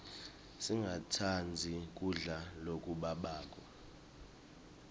singatsandzi kudla lokubabako